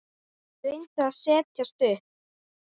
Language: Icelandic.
Ég reyndi að setjast upp.